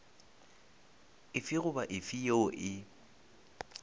efe goba efe yeo e